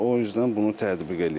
O üzdən bunu tətbiq eləyirlər.